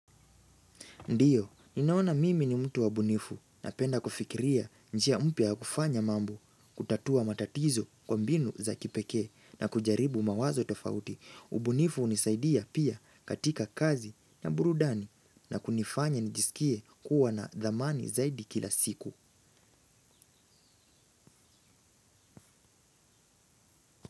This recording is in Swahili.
Ndiyo, ninaona mimi ni mtu wa ubunifu napenda kufikiria njia mpya kufanya mambo, kutatua matatizo kwa mbinu za kipekee na kujaribu mawazo tofauti. Ubunifu unisaidia pia katika kazi na burudani na kunifanya njisikie kuwa na dhamani zaidi kila siku.